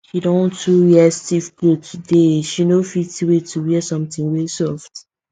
she don too wear stiff cloth today she no fit wait to wear something wey soft